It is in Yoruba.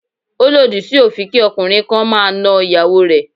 Ó lòdì sí òfin kí ọkùnrin kan máa na ìyàwó rẹ̀.